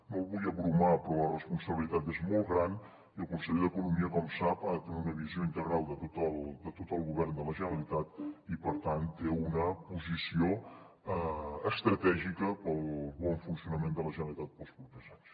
no el vull aclaparar però la responsabilitat és molt gran i el conseller d’economia com sap ha de tenir una visió integral de tot el tot el govern de la generalitat i per tant té una posició estratègica per al bon funcionament de la generalitat per als propers anys